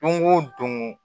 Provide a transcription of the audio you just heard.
Don o don